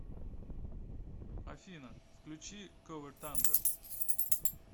афина включи ковер танго